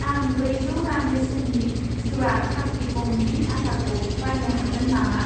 आं ब्रैजौ रां बेसेननि जिवा खाप्लि गमनि आटाखौ बायनो हागोन नामा?